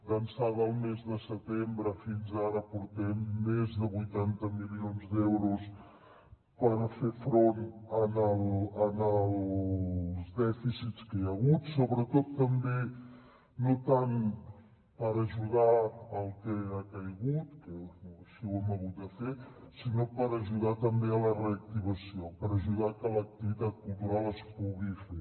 d’ençà del mes de setembre fins ara portem més de vuitanta milions d’euros per fer front als dèficits que hi ha hagut sobretot també no tant per ajudar al que ha caigut que així ho hem hagut de fer sinó per ajudar també a la reactivació per ajudar que l’activitat cultural es pugui fer